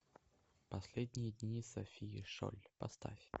последние дни софии шоль поставь